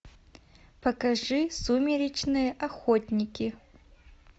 покажи сумеречные охотники